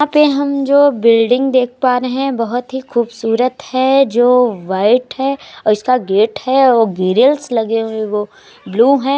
यहाँ पे हम जो बिल्डिंग देख पा रहे है बोहोत ही खूबसूरत है जो व्हाइट है और इसका गेट है ग्रीलस लगे हुए है वो ब्लू है।